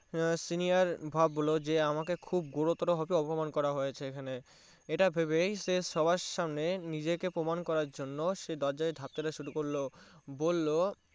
Senior বিহ্বল যে আমাকে খুব গুরুতর ভাবে খুব অপমান করা হয়েছে এখানে ইটা ভেবেই সে সবার সামনে নিজেকে প্রমান করার জন্য সে দরজায় ঢাক দেয়া শুরু করলো বললো